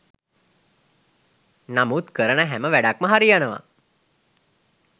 නමුත් කරන හැම වැඩක්ම හරියනවා.